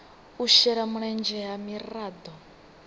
u shela mulenzhe ha miraḓo